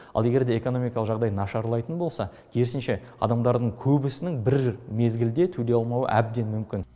ал егер де экономикалық жағдай нашарлайтын болса керісінше адамдардың көбісінің бір мезгілде төлей алмауы әбден мүмкін